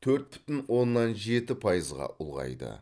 төрт бүтін оннан жеті пайызға ұлғайды